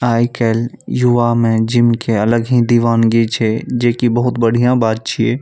आजकल युवा में जिम के अलग ही दीवानगी छे जे की बहुत बढ़िया बात छे।